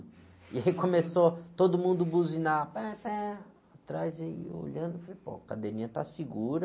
E aí começou todo mundo buzinar, atrás e eu olhando e falei, pô, a cadeirinha está segura.